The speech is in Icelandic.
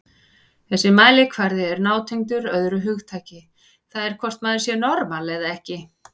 Þessi mælikvarði er nátengdur öðru hugtaki, það er hvort maður sé normal eða ekki.